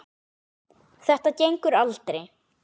Þetta gengur aldrei.